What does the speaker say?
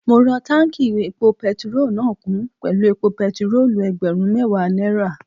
Mo rọ táùnkì epo pẹtirólù náà kún pẹ̀lú epo pẹtirólù ẹgbẹ̀rún mẹ́ẹ̀wá náírà